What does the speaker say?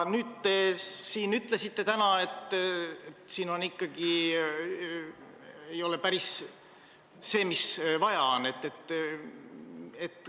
Teie ütlesite täna, et see ikkagi ei ole päris see, mis vaja on.